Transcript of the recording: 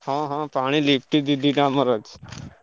ହଁ ହଁ ପାଣି ଦି ଦିଟା ଆମର ଅଛି।